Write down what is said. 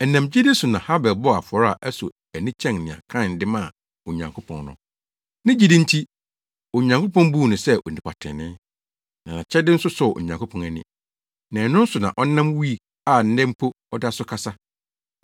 Ɛnam gyidi so na Habel bɔɔ afɔre a ɛsɔ ani kyɛn nea Kain de maa Onyankopɔn no. Ne gyidi nti, Onyankopɔn buu no sɛ onipa trenee, na nʼakyɛde no sɔɔ Onyankopɔn ani. Na ɛno so na ɔnam wui a nnɛ mpo ɔda so kasa.